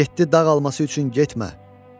Yeddi dağ alması üçün getmə."